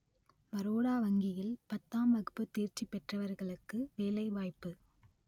பரோடா வங்கியில் பத்தாம் வகுப்பு தேர்ச்சி பெற்றவர்களுக்கு வேலை வாய்ப்பு